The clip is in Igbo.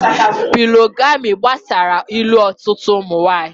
Pólị́gamị́ gbasara ị́lu ọtụtụ ụmụ nwanyị.